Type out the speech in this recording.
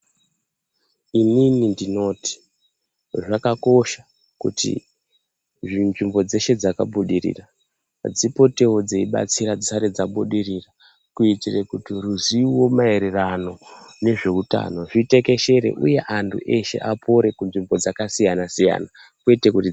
Inini ndinoti zvakakosha kuti nzvimbo dzeshe dzakabudirira dzipotewo dzeibatsira dzisati dzabudirira kuitira kuti ruzivo maererano ezvehutano zvitekeshera uye antu eshe apore kunzvimbo dzakasiyana siyana kwete kuti.